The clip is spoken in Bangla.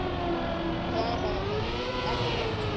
হ্যাঁ হ্যাঁ হ্যাঁ একদম।